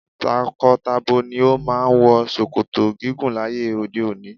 Tako-tabo ni o máà ń wọ ṣòkòtò gígùn láyé òde òni.